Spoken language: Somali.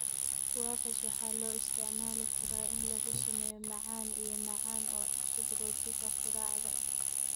Guavas waxaa loo isticmaali karaa in lagu sameeyo macaan iyo macaan oo cusub rootiga quraacda.